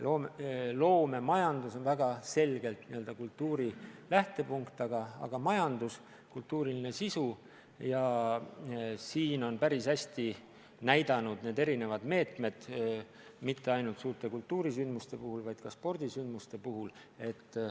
Loomemajandus on väga selgelt n-ö kultuuri lähtepunkt, see on majandus, millel on kultuuriline sisu, ja siin on end päris hästi näidanud erinevad rakendatud meetmed mitte ainult suurte kultuurisündmuste puhul, vaid ka spordisündmuste puhul.